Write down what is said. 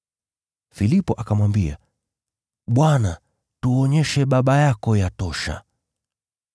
Filipo akamwambia, “Bwana, tuonyeshe Baba yako yatosha.”